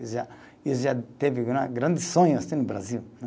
E já, e já teve gran grandes sonhos assim no Brasil.